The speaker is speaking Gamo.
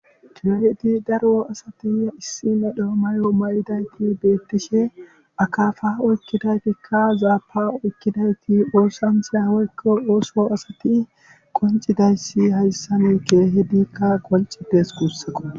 Diyoheti daro asati issina dhoomayo ma]idayti beettishe akafa oykkidaytikka zaapa oykkidayti oosanthiya hoykko ooso asati qoncidayssi hayssanikke hidikka qoncides guussaqo.